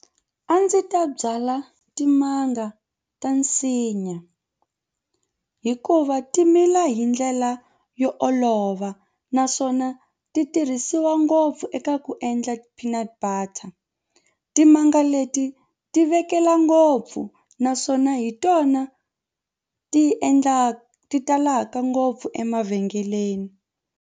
A ndzi ta byala timanga ta nsinya hikuva ti mila hi ndlela yo olova naswona ti tirhisiwa ngopfu eka ku u endla ti-peanut butter. Timanga leti ti vekela ngopfu naswona hi tona ti endla ti talaka ngopfu emavhengeleni.